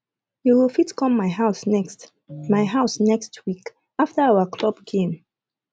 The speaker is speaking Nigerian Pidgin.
you go fit come my house next my house next week after our club gane